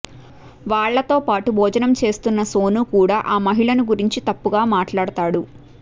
వాళ్ళతో పాటు భోజనం చేస్తున్న సోను కూడా ఆ మహిళను గురించి తప్పుగా మాట్లాడతాడు